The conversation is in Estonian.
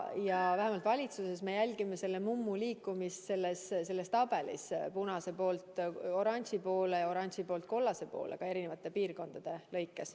Ja vähemalt valitsuses me jälgime selle mummu liikumist tabelis punase poolt oranži poole ja oranži poolt kollase poole ka eri piirkondade lõikes.